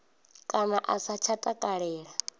kana a sa tsha takalela